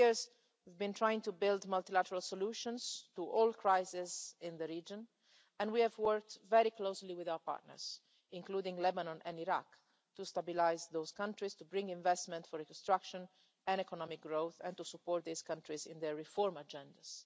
In these years, we've been trying to build multilateral solutions to all crises in the region and we have worked very closely with our partners including Lebanon and Iraq to stabilise those countries to bring investment for reconstruction and economic growth and to support these countries in their reform agendas.